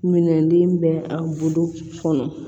Minɛnden bɛ a bolo kɔnɔ